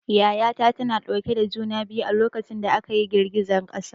Yaya ta tana dauke da juna biyu a lokacin da aka yi girgizar ƙasa.